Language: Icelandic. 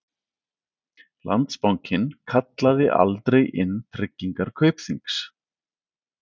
Landsbankinn kallaði aldrei inn tryggingar Kaupþings